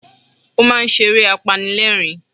Ó máa ń ṣe eré apanilẹ́rìn-ín